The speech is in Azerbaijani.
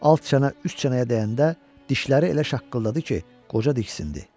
Alt çənə üst çənəyə dəyəndə dişləri elə şaqqıldadı ki, qoca diksindi.